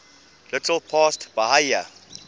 little past bahia